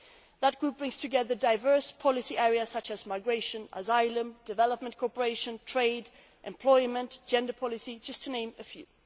This group brings together diverse policy areas such as migration, asylum, development cooperation, trade, employment and gender policy, to name but a